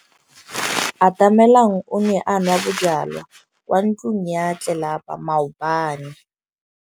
Atamelang o ne a nwa bojwala kwa ntlong ya tlelapa maobane.